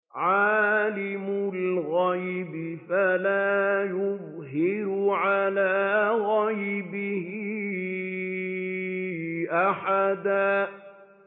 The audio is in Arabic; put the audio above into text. عَالِمُ الْغَيْبِ فَلَا يُظْهِرُ عَلَىٰ غَيْبِهِ أَحَدًا